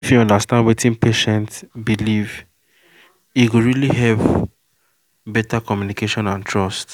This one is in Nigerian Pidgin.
if you understand wetin patient believe e go really help better communication and trust